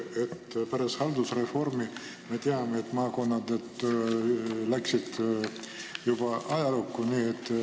Pärast haldusreformi, nagu me teame, läksid maakonnad ajalukku.